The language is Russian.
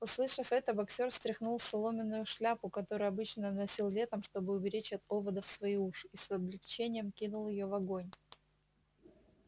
услышав это боксёр стряхнул соломенную шляпу которую обычно носил летом чтобы уберечь от оводов свои уши и с облегчением кинул её в огонь